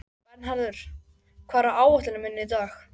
Bernharður, hvað er á áætluninni minni í dag?